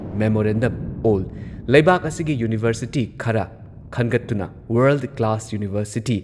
memorandum ꯑꯣꯜ ꯂꯩꯕꯥꯛ ꯑꯁꯤꯒꯤ ꯌꯨꯅꯤꯚꯔꯁꯤꯇꯤ ꯈꯔ ꯈꯟꯒꯠꯇꯨꯅ ꯋꯥꯔꯜꯗ ꯀ꯭ꯂꯥꯁ ꯌꯨꯅꯤꯚꯔꯁꯤꯇꯤ